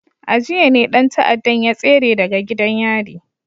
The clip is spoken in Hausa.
A jiya ne dan ta'addan ya tsere daga gidan yari